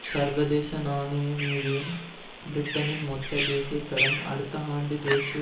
சர்வதேச நாணய நிதியம் பிரிட்டனின் மொத்த தேசிய கடன் அடுத்த ஆண்டு தேசிய